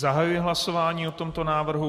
Zahajuji hlasování o tomto návrhu.